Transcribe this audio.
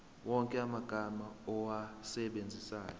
wonke amagama owasebenzisayo